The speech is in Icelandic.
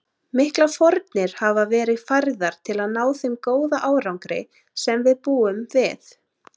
Miklar fórnir hafa verið færðar til að ná þeim góða árangri sem við búum við.